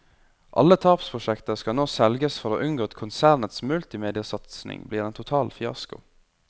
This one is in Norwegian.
Alle tapsprosjekter skal nå selges for å unngå at konsernets multimediasatsing blir en total fiasko.